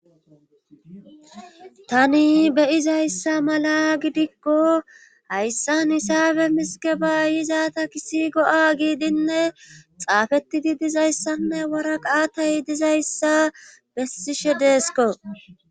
tani beyizayssa mala gidikko hayssan isaabe misikeba yizaata kisi go7a giidinne xaafettidi dizayssanne waraqatay dizayssa bessishe deesko